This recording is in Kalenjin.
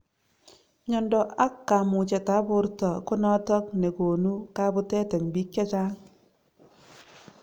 Myondo ab kamuchet ab borto konotok nelonu kabutet ab bik che echeng .